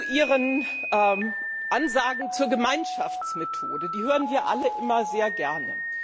Ihre Ansagen zur Gemeinschaftsmethode hören wir alle immer sehr gerne.